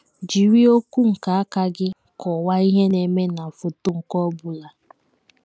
Jiri okwu nke aka gị kọwaa ihe na - eme na foto nke ọ bụla.